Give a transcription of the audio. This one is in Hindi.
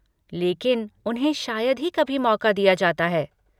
लेकिन उन्हें शायद ही कभी मौका दिया जाता है।